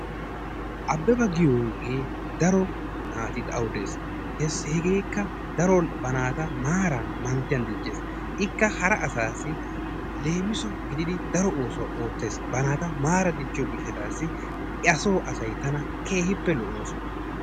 Abeba giyogee daro naati aawu de'ees, hegeekka daro ba naata maaran mankkiyan dicces, ikka hara asassi leemisso gididi daro oosuwa oottees ba naata maara dichchiyo gishshatassi aso asay tana keehippe lo"oosona.